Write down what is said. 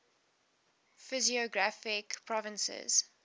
physiographic provinces